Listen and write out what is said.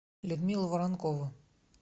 людмила воронкова